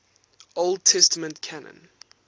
old testament canon